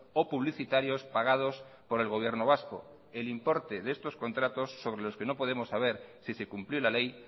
o publicitarios pagados por el gobierno vasco el importe de estos contratos sobre los que no podemos saber si se cumplió la ley